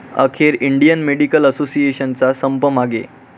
अखेर Indian medical असोसिएशनचा संप मागे